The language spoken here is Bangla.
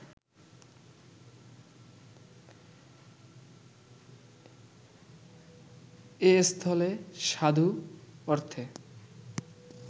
এস্থলে সাধু অর্থে